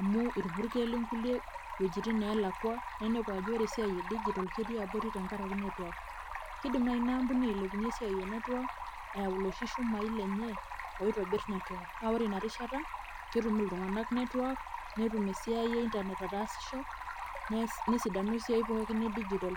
amu ilpurkeli kulie iwojitin neelakua ninepu ajo ore esiai e digital ketii abori kenkaraki network. Kiidim naaji inaampuni ailepunyie esiai e network eeu iloshi shumai lenye oitobir network naa ore inarishata ketum iltunganak network netum esiai e internet ataasisho nesidanu esiai pookin e digital.